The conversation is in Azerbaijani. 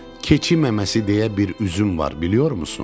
Keçi məməsi deyə bir üzüm var, biliyormusun?